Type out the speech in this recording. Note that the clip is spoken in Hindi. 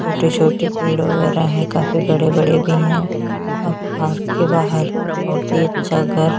छोटे - छोटे पेड़ वगैरह है काफी बड़े - बड़े भी है और पार्क के बाहर बहुत ही अच्छा घर --